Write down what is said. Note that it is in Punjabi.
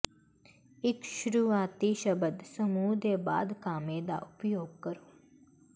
ਇਕ ਸ਼ੁਰੂਆਤੀ ਸ਼ਬਦ ਸਮੂਹ ਦੇ ਬਾਅਦ ਕਾਮੇ ਦਾ ਉਪਯੋਗ ਕਰੋ